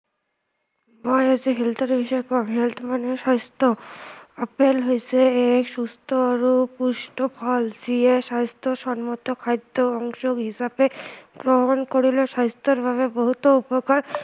মই আজি health ৰ বিষয়ে কম, health মানে স্ৱাস্থ্য়, আপেল হৈছে এক সুস্থ আৰু পুষ্ট ফল যিয়ে স্ৱাস্থ্য়সন্মত খাদ্য়ৰ অংশ হিচাপে গ্ৰহণ কৰিলে স্ৱাস্থ্য়ৰ বাবে বহুতো উপকাৰ